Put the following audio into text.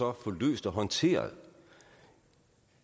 at få løst og håndteret